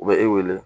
U bɛ e wele